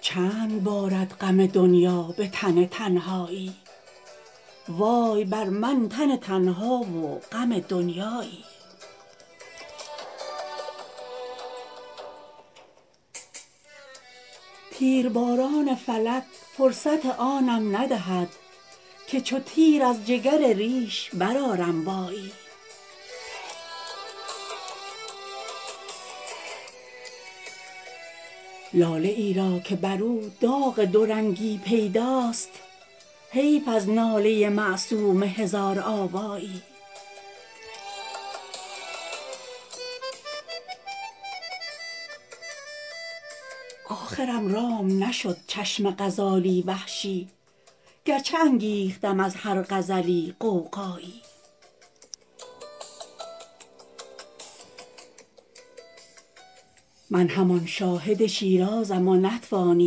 چند بارد غم دنیا به تن تنهایی وای بر من تن تنها و غم دنیایی تیرباران فلک فرصت آنم ندهد که چو تیر از جگر ریش برآرم وایی لاله ای را که بر او داغ دورنگی پیداست حیف از ناله معصوم هزارآوایی آخرم رام نشد چشم غزالی وحشی گرچه انگیختم از هر غزلی غوغایی من همان شاهد شیرازم و نتوانی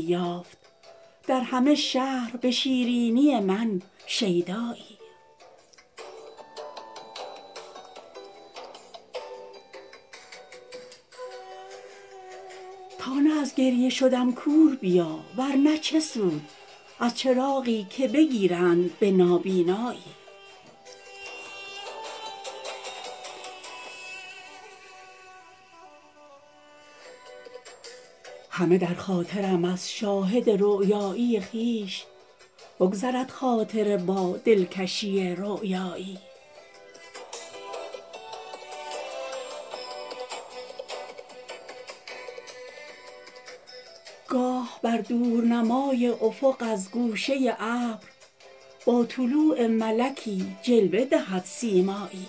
یافت در همه شهر به شیرینی من شیدایی تا نه از گریه شدم کور بیا ورنه چه سود از چراغی که بگیرند به نابینایی همه در خاطرم از شاهد رؤیایی خویش بگذرد خاطره با دلکشی رؤیایی گاه بر دورنمای افق از گوشه ابر با طلوع ملکی جلوه دهد سیمایی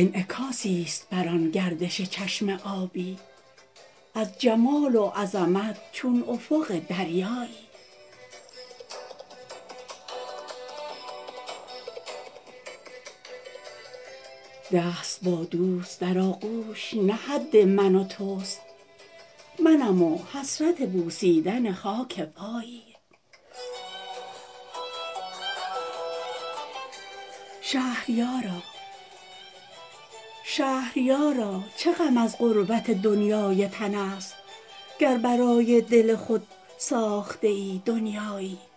انعکاسی است بر آن گردش چشم آبی از جمال و عظمت چون افق دریایی دست با دوست در آغوش نه حد من و تست منم و حسرت بوسیدن خاک پایی شهریارا چه غم از غربت دنیای تن است گر برای دل خود ساخته ای دنیایی